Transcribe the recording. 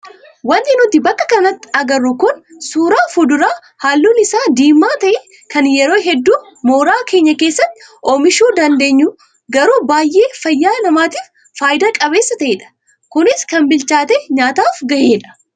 Wanti nuti bakka kanatti agarru kun suuraa fuduraa halluun isaa diimaa ta'e kan yeroo hedduu mooraa keenya keessatti oomishuu dandeenyu garuu baay'ee fayyaa namaatiif fayidaa qabeessa ta'edha. Kunis kan bilchaatee nyaataaf gahedha.